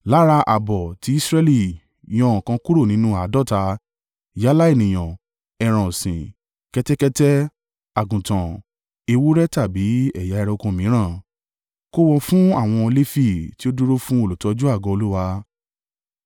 Lára ààbọ̀ ti Israẹli, yan ọ̀kan kúrò nínú àádọ́ta, yálà ènìyàn, ẹran ọ̀sìn, kẹ́tẹ́kẹ́tẹ́, àgùntàn, ewúrẹ́ tàbí ẹ̀yà ẹranko mìíràn. Kó wọn fún àwọn Lefi, tí ó dúró fún olùtọ́jú àgọ́ Olúwa.”